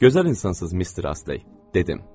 Gözəl insansız mister Astley, dedim.